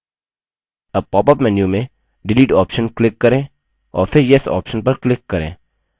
अब popअप menu में delete option click करें और फिर yes option पर click करें